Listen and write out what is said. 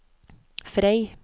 Frei